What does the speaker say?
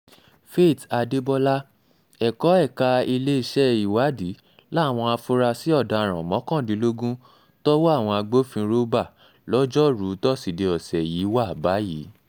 faith adébọlá ẹ̀kọ́ ẹ̀ka iléeṣẹ́ ìwádìí làwọn afurasí ọ̀daràn mọ́kàndínlógún tọ́wọ́ àwọn agbófinró bá lọ́jọ́rùú tọ́sídẹ̀ẹ́ ọ̀sẹ̀ yìí wà báyìí